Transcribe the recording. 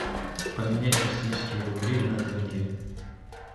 поменять российские рубли на тенге